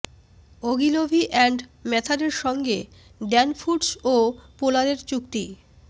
Ogilvy and ম্যাথারের সঙ্গে Dan Foods ও পোলারের চুক্তি